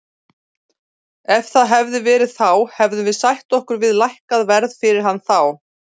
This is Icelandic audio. Ef það hefði verið þá hefðum við sætt okkur við lækkað verð fyrir hann þá.